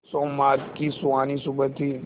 सोमवार की सुहानी सुबह थी